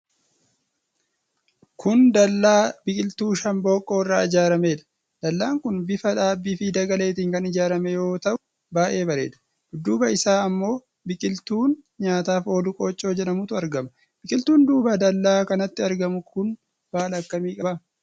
Kun Dallaa biqiltuu shambooqqoo irraa ijaaramedha. Dallaan kun bifa dhaabbii fi dagaleetiin kan ijaarame yoo ta'u baay'ee bareeda. Dudduuba isaa ammo biqiltuun nyaataaf oolu qoochoo jedhamutu argama. Biqiltuun duuba dallaa kanaatti argamu kun baala akkamii qaba?